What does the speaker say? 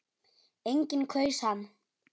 Enginn kaus hann.